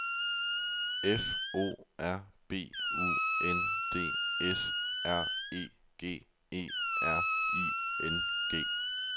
F O R B U N D S R E G E R I N G